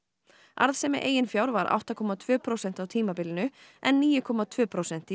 arðsemi eigin fjár var átta komma tvö prósent á tímabilinu en níu komma tvö prósent